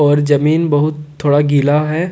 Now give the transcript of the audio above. और जमीन बहुत थोड़ा गीला है।